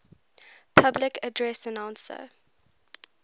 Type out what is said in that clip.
public address announcer